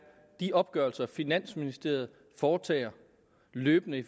de opgørelser finansministeriet foretager løbende i